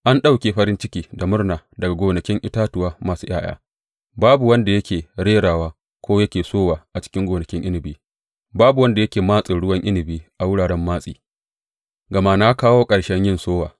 An ɗauke farin ciki da murna daga gonakin itatuwa masu ’ya’ya; babu wanda yake rerawa ko yake sowa a cikin gonakin inabi; babu wanda yake matsin ruwan inabi a wuraren matsi, gama na kawo ƙarshen yin sowa.